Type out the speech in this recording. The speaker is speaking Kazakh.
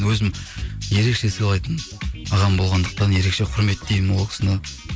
өзім ерекше сылайтын ағам болғандықтан ерекше құрметтеймін ол кісіні